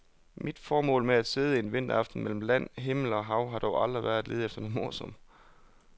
Mit formål med at sidde en vinteraften mellem land, himmel og hav har dog aldrig været at lede efter noget morsomt.